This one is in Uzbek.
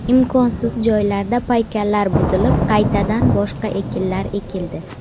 Imkonsiz joylarda paykallar buzilib, qaytadan boshqa ekinlar ekildi.